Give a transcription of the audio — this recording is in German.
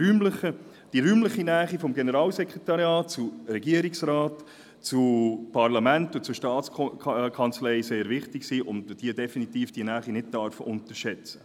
Die räumliche Nähe des Generalssekretariats zum Regierungsrat, zum Parlament und zur Staatskanzlei ist sehr wichtig, und die Wichtigkeit dieser Nähe darf man definitiv nicht unterschätzen.